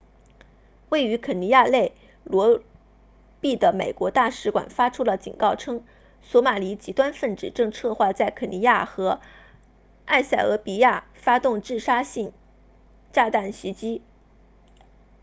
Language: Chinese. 位于肯尼亚内罗毕的美国大使馆发出了警告称索马里极端分子正策划在肯尼亚和埃塞俄比亚发动自杀性炸弹袭击